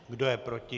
Kdo je proti?